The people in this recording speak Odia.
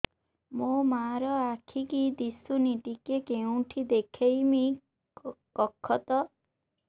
ମୋ ମା ର ଆଖି କି ଦିସୁନି ଟିକେ କେଉଁଠି ଦେଖେଇମି କଖତ